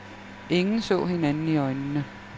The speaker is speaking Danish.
Ingen så hinanden i øjnene.